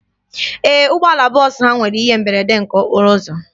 Ee, ụgbọala bọọsụ ha nwere ihe mberede nke okporo ụzọ.